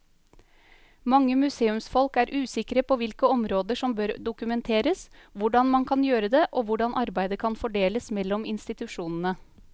Mange museumsfolk er usikre på hvilke områder som bør dokumenteres, hvordan man kan gjøre det og hvordan arbeidet kan fordeles mellom institusjonene.